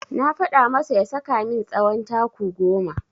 Na faɗa masa ya saka min tsawon taku goma.